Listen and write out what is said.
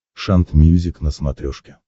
шант мьюзик на смотрешке